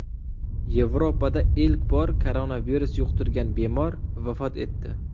Yevropada ilk bor koronavirus yuqtirgan bemor vafot etdi.